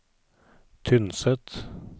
Tynset